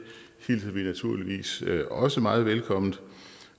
hilser vi naturligvis også meget velkomment